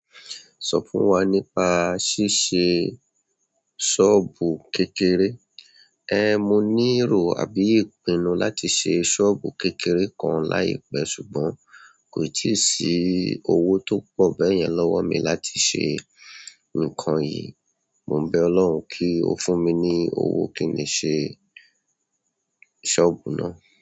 Sọ fún wa nípa ṣíṣe ṣọ́ọ̀bù kékeré ehn, mo ní ìró àbí ìpinnu láti ṣe ṣọ́ọ̀bù kékeré kan láìpẹ́ ṣùgbọ́n kò ì tíì sí owó tó pọ̀ bẹ́yẹn lọ́wọ́ mi láti ṣe nǹkan yìí. Mo ń bẹ Ọlọ́run kí ó fún mi ní owó kí n lè ṣe ṣọ́ọ̀bù náà.